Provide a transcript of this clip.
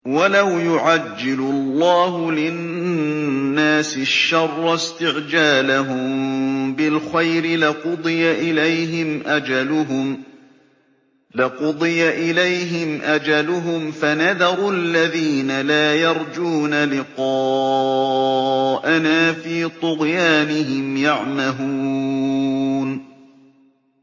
۞ وَلَوْ يُعَجِّلُ اللَّهُ لِلنَّاسِ الشَّرَّ اسْتِعْجَالَهُم بِالْخَيْرِ لَقُضِيَ إِلَيْهِمْ أَجَلُهُمْ ۖ فَنَذَرُ الَّذِينَ لَا يَرْجُونَ لِقَاءَنَا فِي طُغْيَانِهِمْ يَعْمَهُونَ